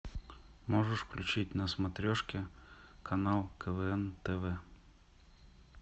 можешь включить на смотрешке канал квн тв